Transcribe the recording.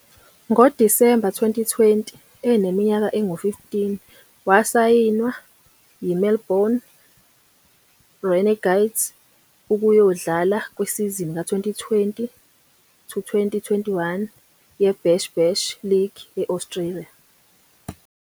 NgoDisemba 2020, eneminyaka engu-15, wasayinwa yiMelbourne Renegades ukuyodlala kwisizini ka- 2020-21 yeBash Bash League e-Australia.